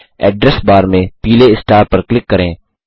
address bar में पीले star पर क्लिक करें